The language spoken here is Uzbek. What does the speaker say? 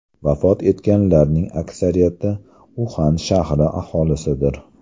Vafot etganlarning aksariyati Uxan shahri aholisidir.